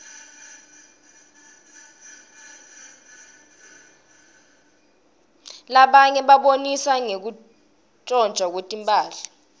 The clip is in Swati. labatiye babonisa ngekwotntwa kwetmphahla